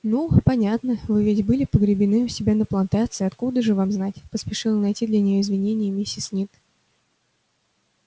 ну понятно вы ведь были погребены у себя на плантации откуда же вам знать поспешила найти для неё извинение миссис мид